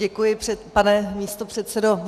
Děkuji, pane místopředsedo.